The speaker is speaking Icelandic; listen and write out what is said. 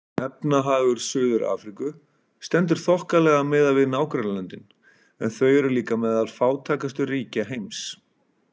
Efnahagur Suður-Afríku stendur þokkalega miðað við nágrannalöndin en þau eru líka meðal fátækustu ríkja heims.